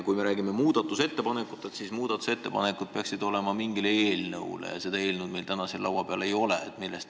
Kui me räägime muudatusettepanekutest, siis muudatusettepanekud peaksid olema mingi eelnõu kohta ja seda meil täna siin laua peal ei ole.